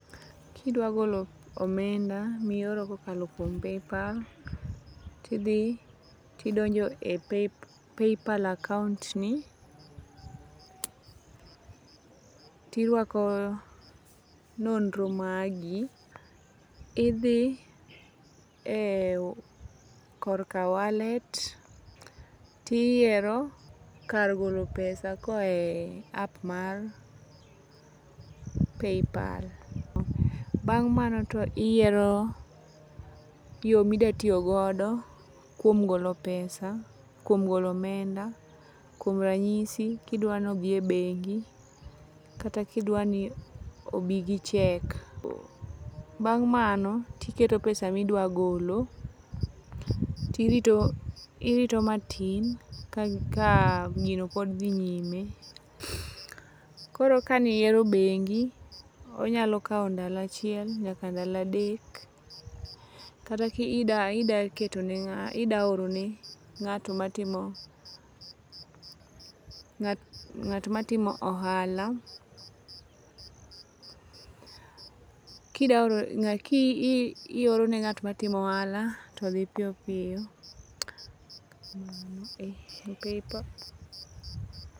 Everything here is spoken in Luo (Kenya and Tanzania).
Kidwagolo omenda miyoro ka okalo kuom paypal, ti thi to idonje e paypal account ni tirwako nondro mari ithi e korka wallet to iyiero kar golo pesa ko oae app mar paypal bang' mano to iyiero yo ma idwatiyo godo kuom golo pesa kuom golo omenda, kuom ranyisi kidwano thie bengi kata ka idwani obi gi check, bang' mano to iketo pesani ma idwagolo tirito irito matin ka gino pod thi nyime, koro kaniyiero bengi onyalo kawo ndalo achiel nyaka ndalo adek kata ka idaketone idaorone ngato matimo nga't matimo ohala kidaorone nga't matimo ohala to thi piyo piyo e paypal